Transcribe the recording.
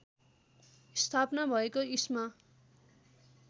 स्थापना भएको इस्मा